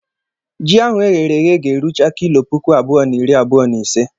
Ji ahụ eghere eghe ga-erucha kilo puku abụọ na iri abuo na ise.